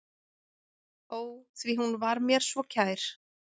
Ó, því hún var mér svo kær.